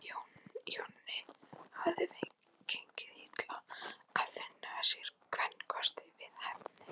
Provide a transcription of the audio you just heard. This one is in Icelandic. Jóni hafði gengið illa að finna sér kvenkost við hæfi.